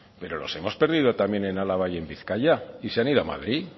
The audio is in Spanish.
pero los hemos perdido también en álava y en bizkaia y se han ido a madrid